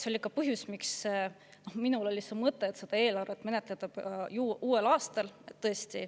See oli ka põhjus, miks mul oli mõte, et seda võiks menetleda uuel aastal.